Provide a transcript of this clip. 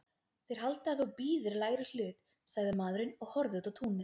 Þeir halda að þú bíðir lægri hlut, sagði maðurinn og horfði út á túnið.